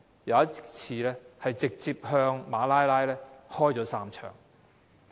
有一次，武裝分子向馬拉拉開了3槍。